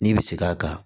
N'i bi seg'a kan